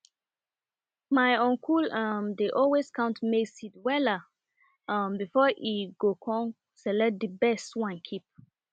my uncle um dey always count maize seed wella um before e go com select di best one keep